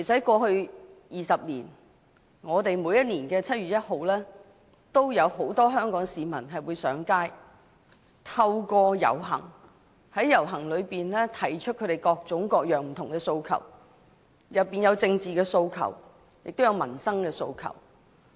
過去10多年，每一年的7月1日都有很多香港市民上街，透過遊行提出各種各樣的訴求，包括政治訴求、民生訴求。